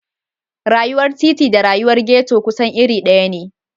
Rayuwar titi da rayuwar ghetto kusan iri ɗaya ne.